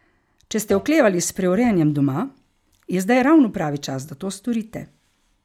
Če ste oklevali s preurejanjem doma, je zdaj ravno pravi čas, da to storite.